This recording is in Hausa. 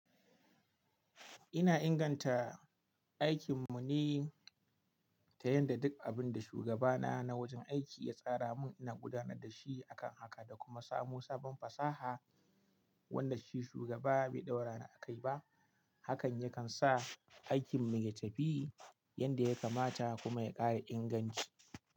Ina inganta aikin mu ne ta yadda duk abin da shugaba na na wajen aiki ya tsara mun ina gudanar da shi akan haka da kuma samun sabon fasaha wanda shi shugaba bai ɗaura ni a kai ba. Hakan yakan sa aikin mu ya tafi yadda ya kamata kuma ya ƙara inganci.